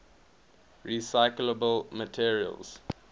recyclable materials